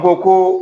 Ko ko